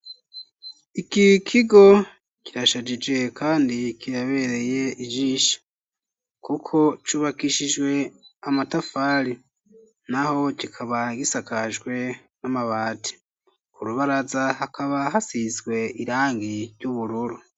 Iki kigo kirashajije kandi kirabereye ijisho kuko cubakishijwe amatafari naho kikaba gisakajwe n'amabati ku rubaraza hakaba hasizwe irangi ry'ubururu.